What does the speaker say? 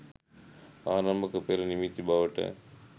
ආරම්භක පෙර නිමිති බවට